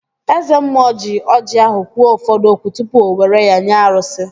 Eze mmụọ ji ọjị ahụ kwuo ụfọdụ okwu tupu o were ya nye arụsị